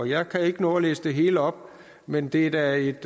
jeg kan ikke nå at læse det hele op men det er da et